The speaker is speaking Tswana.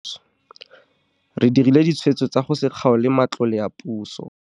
Re dirile ditshwetso tsa go se kgaole matlole a puso.